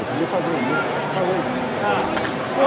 Eu podia fazer um livro falando sobre os pergaminhos do Mar Morto.